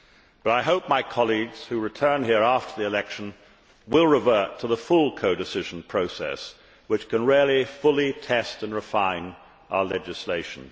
But I hope my colleagues who return here after the election will revert to the full codecision process, which can really fully test and refine our legislation.